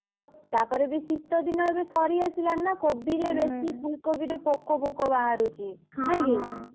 ତା ପରେ ବି ଏବେ ଶୀତ ଦିନ ଏବେ ସରିଆସିଲାଣି ନା କୋବି ରେ ବେଶୀ ଫୁଲ୍ କୋବି ରେ ପୋକ ଫୋକ ବାହାରୁଛି ନାଇଁ କି?